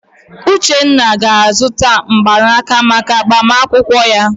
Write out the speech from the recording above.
Uchenna ga-azụta mgbanaka maka agbamakwụkwọ ya.